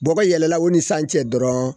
Bɔkɔ yɛlɛla o ni san cɛ dɔrɔn